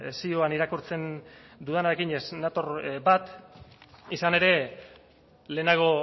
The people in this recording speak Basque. zioan irakurtzen dudanarekin ez nator bat izan ere lehenago